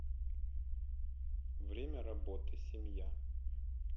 время работы семья